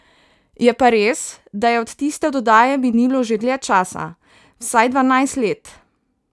Je pa res, da je od tiste oddaje minilo že dlje časa, vsaj dvanajst let.